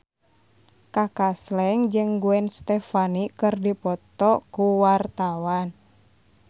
Kaka Slank jeung Gwen Stefani keur dipoto ku wartawan